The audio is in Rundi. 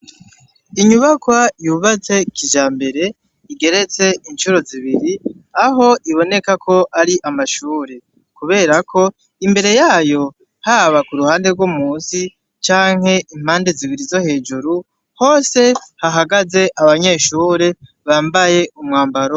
Inyubakwa yubatse kijambere igeretse incuro zibiri aho iboneka ko ari amashure kubera ko imbere yayo haba kuruhande yo musi canke impande zibiri zo hejuru hose hahagaze abanyeshure bambaye umwambaro.